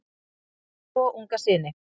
Parið á tvo unga syni.